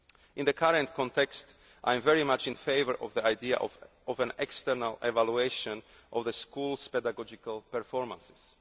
schools. In the current context, I am very much in favour of the idea of an external evaluation of the Schools' pedagogical performances.